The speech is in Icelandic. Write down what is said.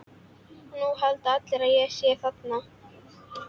Og núna halda allir að ég sé þaðan.